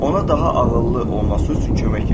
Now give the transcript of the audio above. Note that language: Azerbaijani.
Ona daha ağıllı olması üçün kömək et.